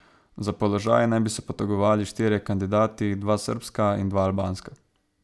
Za položaj naj bi se potegovali štirje kandidati, dva srbska in dva albanska.